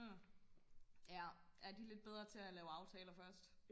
ja de er lidt bedre til at lave aftaler først